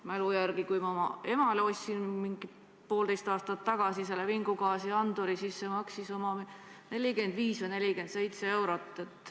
Ma mäletan, et kui ma oma emale ostsin mingi poolteist aastat tagasi vingugaasianduri, siis see maksis 45 või 47 eurot.